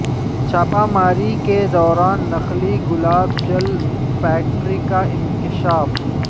چھاپہ ماری کے دوران نقلی گلاب جل فیکٹری کا انکشاف